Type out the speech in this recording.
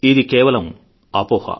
ఇది కేవలం అపోహ